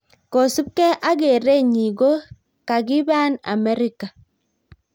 Kosupgei ak kereen nyii ko kakipaan Amerika